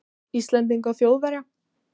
Íslendinga og Þjóðverja.